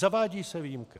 Zavádí se výjimka.